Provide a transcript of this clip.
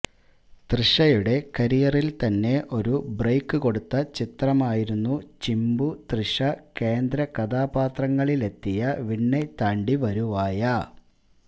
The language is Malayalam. തൃഷയുടെ കരിയറിൽ തന്നെ ഒരു ബ്രേക്ക് കൊടുത്ത ചിത്രമായിരുന്നു ചിമ്പു തൃഷ കേന്ദ്രകഥാപാത്രങ്ങളിലെത്തിയ വിണ്ണെതാണ്ടി വരുവായ